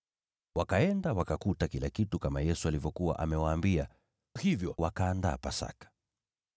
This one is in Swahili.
Wakaenda, nao wakakuta kila kitu kama Yesu alivyowaambia. Hivyo wakaiandaa Pasaka.